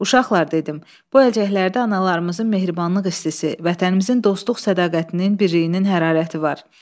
Uşaqlar dedim, bu əlcəklərdə analarımızın mehribanlıq hissi, vətənimizin dostluq sədaqətinin birliyinin hərarəti var.